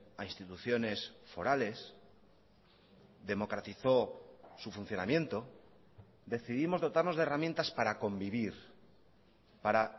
a instituciones forales democratizó su funcionamiento decidimos dotarnos de herramientas para convivir para